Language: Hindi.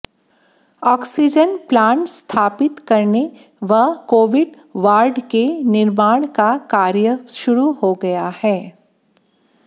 आक्सीजन प्लांट स्थापित करने व कोविड वार्ड के निर्माण का कार्य शुरू हो गया है